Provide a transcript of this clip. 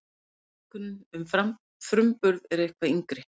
Notkunin um framburð er eitthvað yngri.